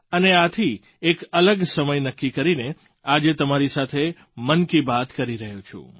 અને આથી એક અલગ સમય નક્કી કરીને આજે તમારી સાથે મન કી બાત કરી રહ્યો છું